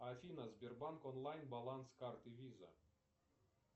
афина сбербанк онлайн баланс карты виза